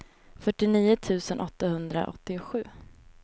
fyrtionio tusen åttahundraåttiosju